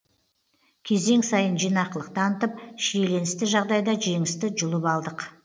кезең сайын жинақылық танытып шиеленісті жағдайда жеңісті жұлып алдық